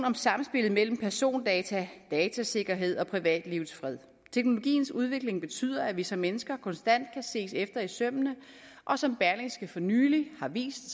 om samspillet mellem persondata datasikkerhed og privatlivets fred teknologiens udvikling betyder at vi som mennesker konstant kan ses efter i sømmene og som berlingske for nylig har vist